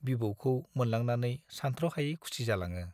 बिबौखौ मोनलांनानै सान्थ्र'हायै खुसि जालाङो।